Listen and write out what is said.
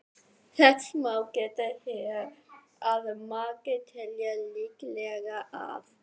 Þess má geta hér að margir telja líklegra að